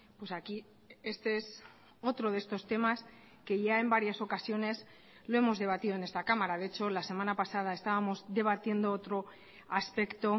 pues aquí este es otro de estos temas que ya en varias ocasiones lo hemos debatido en esta cámara de hecho la semana pasada estábamos debatiendo otro aspecto